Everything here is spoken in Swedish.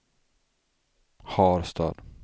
Harstad